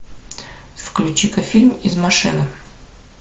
включи ка фильм из машины